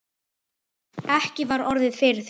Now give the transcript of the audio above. Ekki var orðið við því.